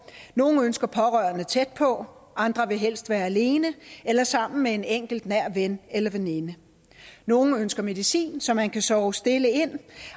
nogle ønsker pårørende tæt på andre vil helst være alene eller sammen med en enkelt nær ven eller veninde nogle ønsker medicin så man kan sove stille ind